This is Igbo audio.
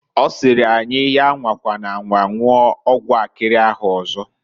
Ọ sịrị anyi, ya anwakwana anwa nwụọ ọgwụ akịrị ahụ ọzọ.